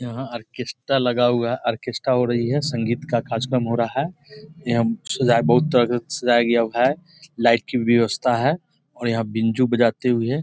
यहाँ ऑर्केस्ट्रा लगा हुआ है ऑर्केस्ट्रा हो रही है संगीत का कार्यक्रम हो रहा है यहाँ सजा के बहुत तरह के सजाया गया है लाइट की व्यवस्था है और यहाँ बिंजू बजाते हुए है।